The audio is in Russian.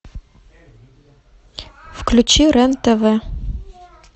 включи рен тв